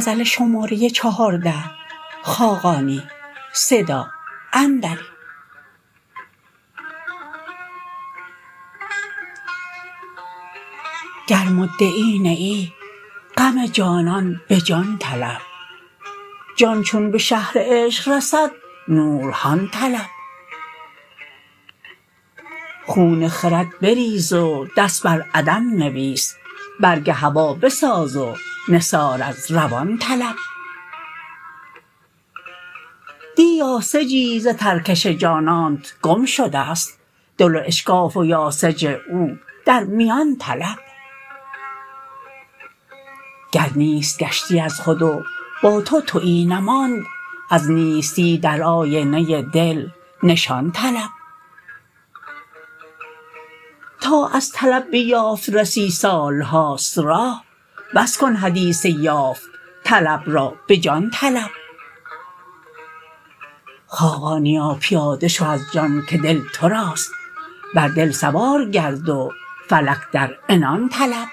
گر مدعی نه ای غم جانان به جان طلب جان چون به شهر عشق رسد نورهان طلب خون خرد بریز و دست بر عدم نویس برگ هوا بساز و نثار از روان طلب دی یاسجی ز ترکش جانانت گم شده است دل واشکاف و یاسح او در میان طلب گر نیست گشتی از خود و با تو تویی نماند از نیستی در آینه دل نشان طلب تا از طلب به یافت رسی سالهاست راه بس کن حدیث یافت طلب را به جان طلب خاقانیا پیاده شو از جان که دل توراست بر دل سوار گرد و فلک در عنان طلب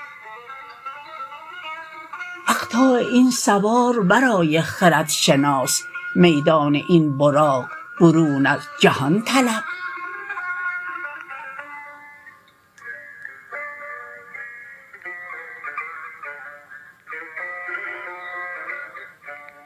اقطاع این سوار ورای خرد شناس میدان این براق برون از جهان طلب